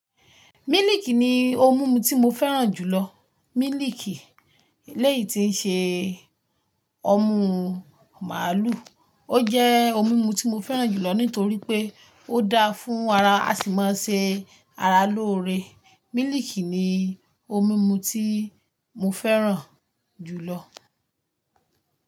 Mílìikì ni óun mùnmù tí mó fèrán júlò. Míliìkì elèyí ti ń ṣé òmù máàlú, ó jé ómùu tí mó fèrán júlò nítorí pé ó daá fún ara, àsimò ṣé àrá lóore. Mílìkì ni ómùnmù tí mó fèrán júlò.